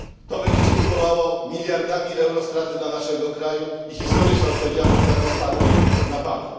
To będzie skutkowało miliardami euro strat dla naszego kraju i historyczna odpowiedzialność za to spadnie na Pana.